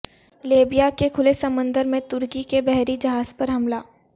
Libya کے کھلے سمندر میں ترکی کے بحری جہاز پر حملہ